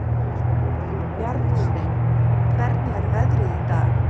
Bjarnsteinn, hvernig er veðrið í dag?